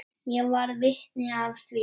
Ég varð vitni að því.